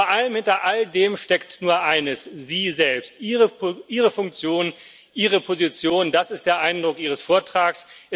Und vor allem Hinter all dem steckt nur eines Sie selbst, Ihre Funktion, Ihre Position das ist der Eindruck Ihres Vortrags.